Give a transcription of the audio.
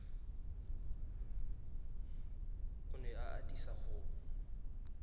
o ne a atisa ho